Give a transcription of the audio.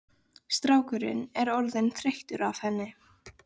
Strákurinn er orðinn þreyttur á henni.